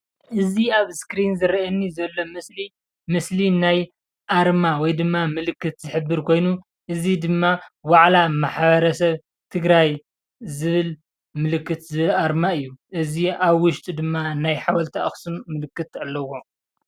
እዚ ኣብ እስክሪን ዝረኣየኒ ዘሎ ምስሊ ምስሊ ናይ ኣርማ ወይድማ ምልክት ዝሕብር ኮይኑ እዚ ድማ ዋዕላ ማሕበረሰብ ትግራይ ዝብል ምልክት እዚ ኣርማ እዩ። እዚ ኣብ ውሽጡ ድማ ናይ ሓወልቲ ኣክሱም ምልክት ኣለዎ።